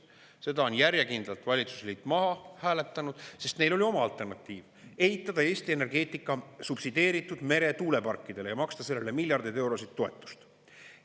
Seda on järjekindlalt valitsusliit maha hääletanud, sest neil oli oma alternatiiv: ehitada Eesti energeetika subsideeritud meretuuleparkidele ja maksta sellele miljardeid eurosid toetust.